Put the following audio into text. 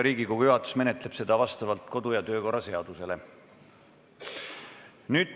Riigikogu juhatus menetleb seda kodu- ja töökorra seaduse kohaselt.